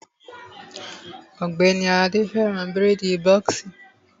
Ògbẹ́ni Àlàdé fẹ́ràn bírèèdì bọ́ọ̀ksì